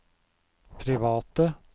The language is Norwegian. private